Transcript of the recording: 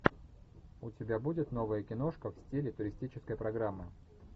у тебя будет новая киношка в стиле туристической программы